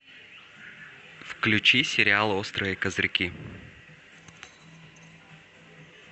включи сериал острые козырьки